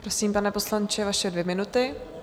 Prosím, pane poslanče, vaše dvě minuty.